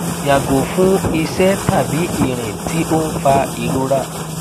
yago fun ise tabi irin ti o n fa irora